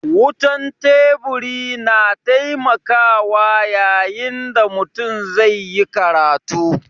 Wutan Teburi na taimakawa yayin da mutum zai yi karatu.